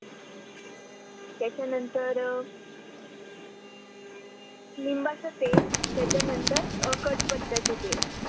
त्याच्या नंतर लिंबाचे तेल त्याच्या नंतर कढीपत्त्याच तेल